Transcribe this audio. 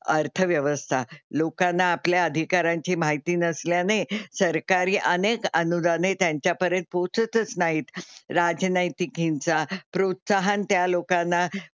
अर्थव्यवस्था, लोकांना आपल्या अधिकारांची माहिती नसल्याने सरकारी अनेक अनुदाने त्यांच्या पर्यंत पोहोचतच नाहीत. राजनैतिक हिंसा प्रोत्साहन त्या लोकांना,